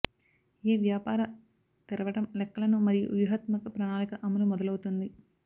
ఏ వ్యాపార తెరవడం లెక్కలను మరియు వ్యూహాత్మక ప్రణాళిక అమలు మొదలవుతుంది